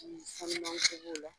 Haminako b'o la